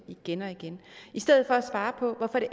igen og igen i stedet for at svare på hvorfor